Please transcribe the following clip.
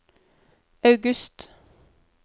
august